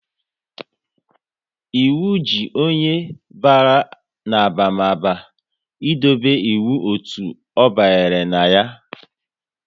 Ịwu ji onye bara n'abamaba ị dobe iwu otu ọ banyere na ya